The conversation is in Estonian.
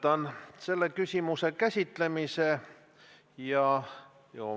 See ei ole protseduuriline küsimus täpselt samamoodi, nagu ei olnud seda Jevgeni Ossinovski küsimus.